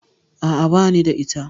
A'a, bani da ita.